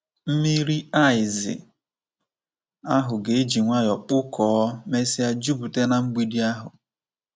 Mmiri aịzị ahụ ga-eji nwayọ kpụkọọ, mesịa jupụta na mgbidi ahụ.